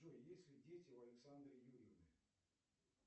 джой есть ли дети у александры юрьевны